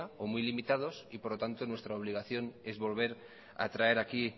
o muy limitados y nuestra obligación es volver a traer aquí